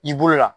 I bolo la